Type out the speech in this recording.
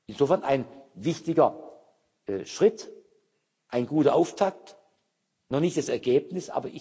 Insofern ein wichtiger Schritt, ein guter Auftakt, noch nicht das Ergebnis.